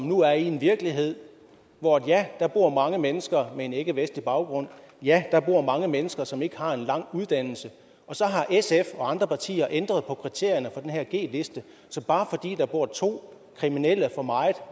nu er i en virkelighed hvor ja der bor mange mennesker med en ikkevestlig baggrund og ja der bor mange mennesker som ikke har en lang uddannelse og så har sf og andre partier ændret på kriterierne for den her g liste så bare fordi der bor to kriminelle for meget